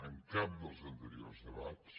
en cap dels anteriors debats